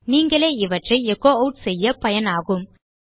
நீங்களே இவற்றை எச்சோ ஆட் செய்ய பயனாகும்